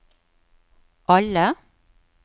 alle